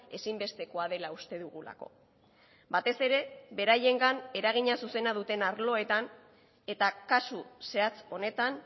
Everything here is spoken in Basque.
ezinbestekoa dela uste dugulako batez ere beraiengan eragina zuzena duten arloetan eta kasu zehatz honetan